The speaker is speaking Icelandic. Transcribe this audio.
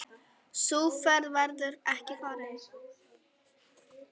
Sú ferð verður ekki farin.